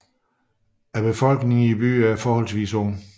Befolkningen i byen er forholdsvis ung